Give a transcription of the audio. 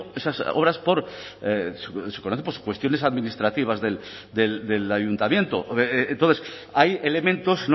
esas obras por cuestiones administrativas del ayuntamiento entonces hay elementos